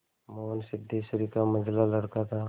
मोहन सिद्धेश्वरी का मंझला लड़का था